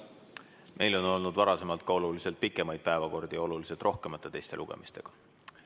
Meil on olnud varem ka oluliselt pikemaid päevakordi ja oluliselt rohkemate teiste lugemistega.